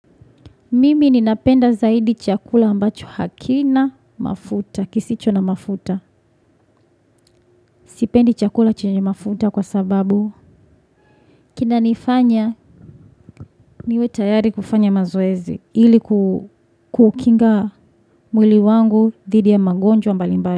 Mimi ninapenda zaidi chakula ambacho hakina mafuta, kisicho na mafuta. Sipendi chakula chenye mafuta kwa sababu. Kina nifanya, niwe tayari kufanya mazoezi. Hili kukinga mwili wangu didi ya magonjwa mbalimbari.